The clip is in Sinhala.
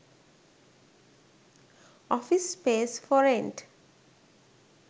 office space for rent